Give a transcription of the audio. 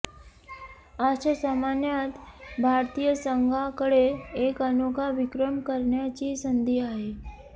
आजच्या सामन्यात भारतीय संघाकडे एक अनोखा विक्रम करण्याची संधी आहे